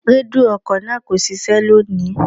Rédíò ọkọ̀ náà kò ṣiṣẹ́ lónìí.